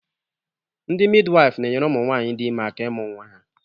Ndị midiwaifu na-enyere ụmụnwaanyị dị ime aka ịmụ nnwa ha.